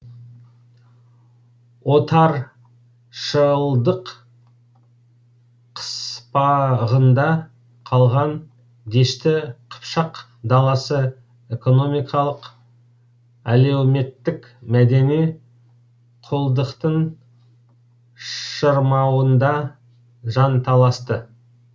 отаршылдық қыспағында қалған дешті қыпшақ даласы экономикалық әлеуметтік мәдени құлдықтың шырмауында жанталасты